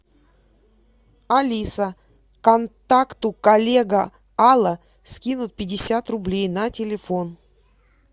алиса контакту коллега алла скинуть пятьдесят рублей на телефон